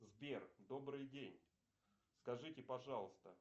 сбер добрый день скажите пожалуйста